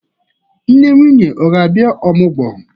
Nne nwunye a ga-abịa ọmụgwọ?